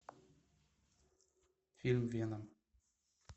фильм веном